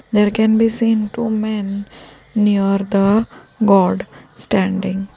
there can be seen two men near the god standing.